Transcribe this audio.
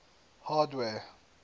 hardware